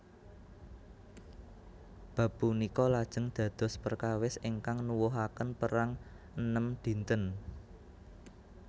Bab punika lajeng dados perkawis ingkang nuwuhaken Perang Enem Dinten